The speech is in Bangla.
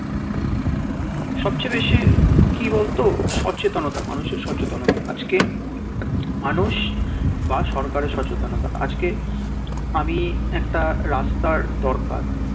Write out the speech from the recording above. সব চেয়ে বেশি কি বলতো সচেতনতা মানুষের সচেতনতা আজকে মানুষ বা সরকারে সচেতনতা আমি একটা রাস্তার দরকার